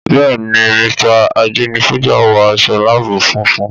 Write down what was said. Bẹ́ẹ̀ ni, Mr. Ajenifuja wọ aṣọ láàbù funfun.